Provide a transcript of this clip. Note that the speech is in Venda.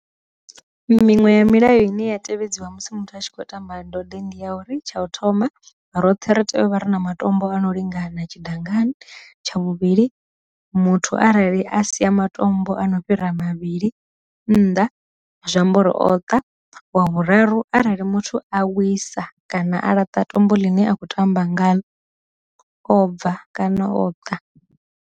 Miṅwe ya milayo ine ya tevhedzwa musi muthu a tshi kho tamba ndode ndi ya uri tsha u thoma, roṱhe ri tea u vha re na matombo a no lingana tshidangani, tsha vhuvhili muthu arali a sia matombo mbo ano fhira mavhili nnḓa zwiamba uri o ṱa, wa vhuraru arali muthu a wisa kana a laṱa tombo ḽine a kho tamba ngaḽo o bva kana o ṱa.